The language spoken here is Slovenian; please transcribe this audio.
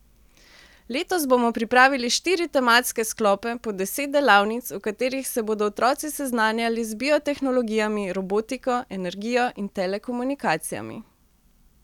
Letos bomo pripravili štiri tematske sklope po deset delavnic, v katerih se bodo otroci seznanjali z biotehnologijami, robotiko, energijo in telekomunikacijami.